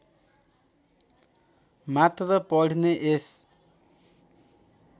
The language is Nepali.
मात्र पढ्ने यस